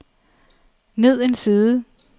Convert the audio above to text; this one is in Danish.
ned en side